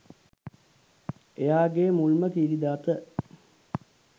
එයාගෙ මුල්ම කිරි දත